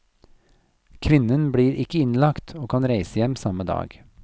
Kvinnen blir ikke innlagt, og kan reise hjem samme dag.